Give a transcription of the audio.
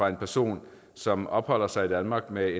en person som opholder sig i danmark med